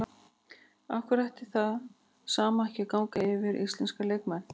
Af hverju ætti það sama ekki að ganga yfir íslenska leikmenn?